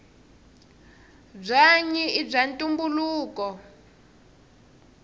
bwanyi ibwaantumbuluko